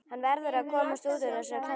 Hann verður að komast út úr þessari klemmu.